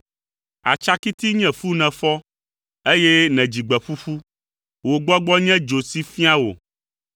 Atsakiti nye fu nèfɔ, eye nèdzi gbe ƒuƒu. Wò gbɔgbɔ nye dzo si fia wò.